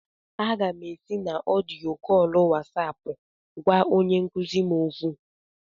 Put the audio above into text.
Aga m ési na odiyo kóólu Wasáápu gwá onye nkuzi m okwu